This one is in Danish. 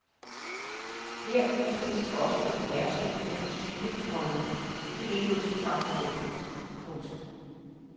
Her udstilles også en bærestol af den type, komma de rige lod sig fragte rundt i. punktum